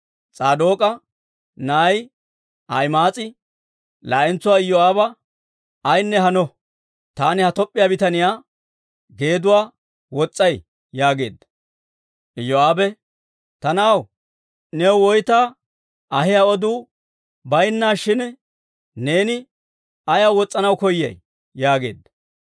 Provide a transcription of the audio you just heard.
S'aadook'a na'ay Ahima'aas'i laa'entsuwaa Iyoo'aaba, «Ayinne hano; taani ha Toop'p'iyaa bitaniyaa geeduwaa wos's'ay» yaageedda. Iyoo'aabe, «Ta na'aw, new woyta ahiyaa oduu baynnaashin, neeni ayaw wos's'anaw koyay?» yaageedda.